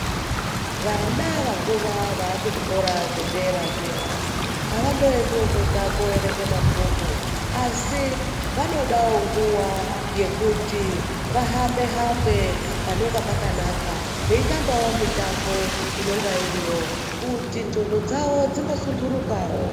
Vana vakura vakuzvikora zvedera avandoendiwo kwega koerenga mabhuku asi vanodawo nguwa yekuti vahambe hambe pnenge pakanaka veitambawo mitambo inonga iriyo kuti ndxondo dzawo dzimbo sundurukawo.